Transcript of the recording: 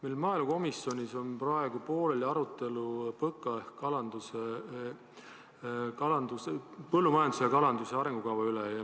Meil maaelukomisjonis on praegu pooleli arutelu PÕKA ehk põllumajanduse ja kalanduse arengukava üle.